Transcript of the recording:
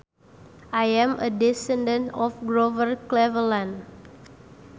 I am a descendant of Grover Cleveland